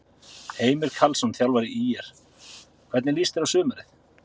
Heimir Karlsson, þjálfari ÍR Hvernig líst þér á sumarið?